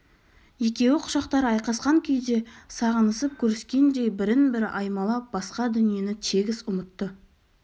екеуі құшақтары айқасқан күйде сағынысып көріскендей бірін-бірі аймалап басқа дүниені тегіс ұмытты